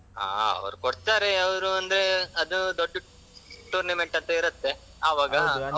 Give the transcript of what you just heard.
ಹಾ ಅವರು ಕೊಡ್ತಾರೆ ಅವರು ಅಂದ್ರೆ ಅದು ದೊಡ್ಡ tournament ಅಂತ ಇರುತ್ತೆ ಅವಾಗ.